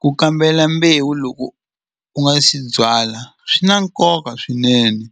Ku kambela mbewu loko u nga si byala swi na nkoka swinene